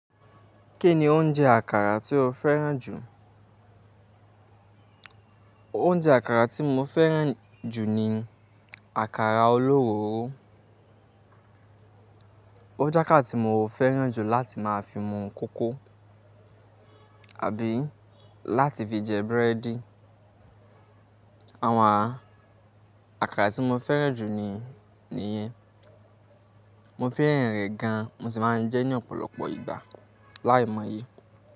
Kí ni oúnjẹ àkàrà tí o fẹ́ràn jù? Oúnjẹ àkàrà tí mo fẹ́ràn jù ni àkàrà olówó. Ó je akara tí mo fẹ́ràn jù láti máa fi mu kókó àbí láti fi jẹ búrẹ́dì. Àwọn àkàrà tí mo fẹ́ràn jù ni, nìyẹn. Mo fẹ́ràn rẹ̀ gan mo sì máa ń jẹ ẹ́ ní ọ̀pọ̀lọpọ̀ ìgbà láìmọye.